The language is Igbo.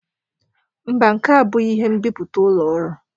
Mba, nke a abụghị ihe nbipute ụlọ ọrụ